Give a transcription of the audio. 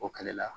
O kɛlɛ la